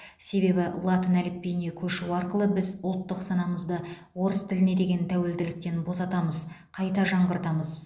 себебі латын әліпбиіне көшу арқылы біз ұлттық санамызды орыс тіліне деген тәуелділіктен босатамыз қайта жаңғыртамыз